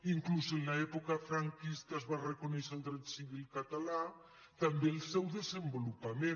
inclús en l’època franquista es va reconèixer el dret civil català també el seu desenvolupament